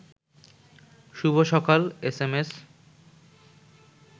শুভ সকাল এসএমএস